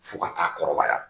Fo ka ta'a kɔrɔbaya